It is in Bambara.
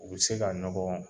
U be se ka nɔgɔ